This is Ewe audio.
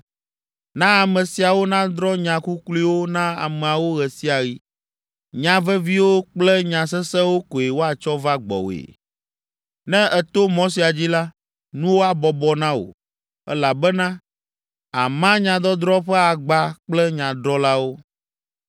Na ame siawo nadrɔ̃ nya kukluiwo na ameawo ɣe sia ɣi. Nya veviwo kple nya sesẽwo koe woatsɔ va gbɔwòe. Ne èto mɔ sia dzi la, nuwo abɔbɔ na wò, elabena àma nyadɔdrɔ̃ ƒe agba kple nyadrɔ̃lawo.